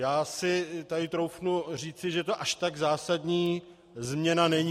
Já si tady troufnu říci, že to až tak zásadní změna není.